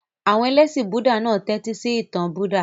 Àwọn ẹlẹ́ṣin Búúdà náà tẹ́tísí ìtàn Buddha.